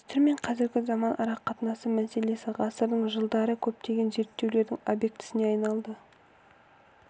дәстүр мен қазіргі заман арақатынасы мәселесі ғасырдың жылдары көптеген зерттеулердің объектісіне айналды